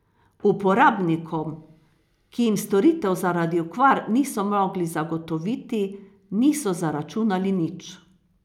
Uporabnikom, ki jim storitev zaradi okvar niso mogli zagotoviti, niso zaračunali nič.